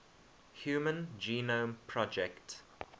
human genome project